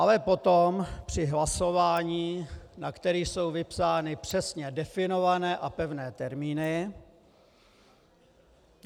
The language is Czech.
Ale potom při hlasování, na které jsou vypsány přesně definované a pevné termíny...